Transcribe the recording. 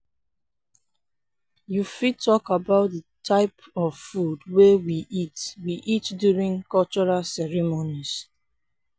you fit talk about di types of food wey we eat we eat during cultural ceremonies.